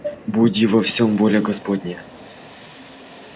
буди во всём воля господня